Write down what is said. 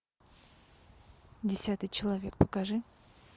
десятый человек покажи